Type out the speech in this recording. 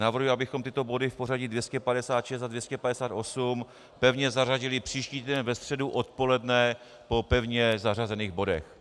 Navrhuji, abychom tyto body v pořadí 256 a 258 pevně zařadili příští týden ve středu odpoledne po pevně zařazených bodech.